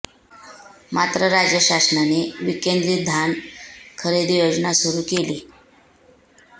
मात्र राज्य शासनाने विकेंद्रित धान खरेदी योजना सुरु केली